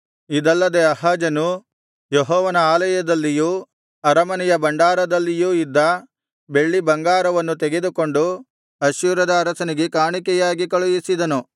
ಇದಲ್ಲದೆ ಆಹಾಜನು ಯೆಹೋವನ ಆಲಯದಲ್ಲಿಯೂ ಅರಮನೆಯ ಭಂಡಾರದಲ್ಲಿಯೂ ಇದ್ದ ಬೆಳ್ಳಿಬಂಗಾರವನ್ನು ತೆಗೆದುಕೊಂಡು ಅಶ್ಶೂರದ ಅರಸನಿಗೆ ಕಾಣಿಕೆಯಾಗಿ ಕಳುಹಿಸಿದನು